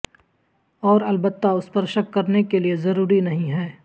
اور البتہ اس پر شک کرنے کے لئے ضروری نہیں ہے